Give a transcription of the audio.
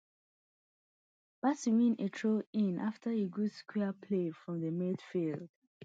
bassey win a throwin afta good square play from di midfield